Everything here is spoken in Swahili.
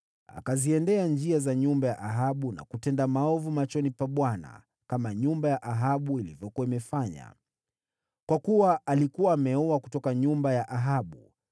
Akaenenda katika njia za nyumba ya Ahabu, na kutenda maovu machoni pa Bwana , kama nyumba ya Ahabu ilivyokuwa imefanya, kwa kuwa alikuwa ameoa kutoka nyumba ya Ahabu.